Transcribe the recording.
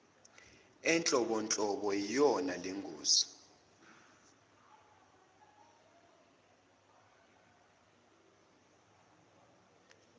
enhlobonhlobo iyona lengosi